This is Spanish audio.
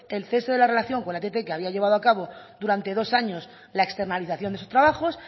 el cese de la relación con la ett que había llevado a cabo durante dos años la externalización de sus trabajos